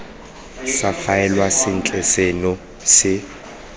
sa faelwa sentle seno se